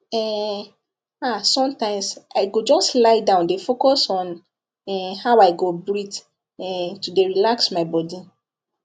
um ah sometimes i go just lie down dey focus on um how i go breathe um to dey relax my body